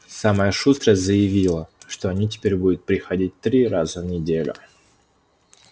самая шустрая заявила что они теперь будут приходить три раза в неделю